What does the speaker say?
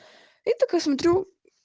и так я смотрю